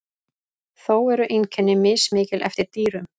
Þó eru einkenni mismikil eftir dýrum.